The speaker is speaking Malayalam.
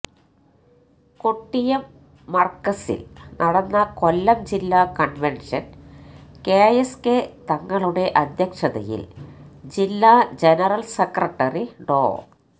കൊട്ടിയം മര്കസില് നടന്ന കൊല്ലം ജില്ലാ കണ്വെന്ഷന് കെ എസ് കെ തങ്ങളുടെ അധ്യക്ഷതയില് ജില്ലാ ജനറല് സെക്രട്ടറി ഡോ